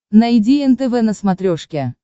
найди нтв на смотрешке